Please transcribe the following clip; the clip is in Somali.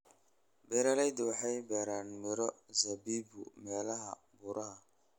Beeralaydu waxay beeraan miro zabibu meelaha buuraha.